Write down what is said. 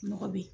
Mɔgɔ bɛ ye